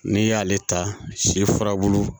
N'i y'ale ta sifurabulu